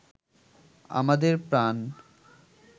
আমাদের প্রান